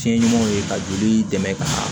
Fiɲɛ ɲumanw ye ka joli dɛmɛ ka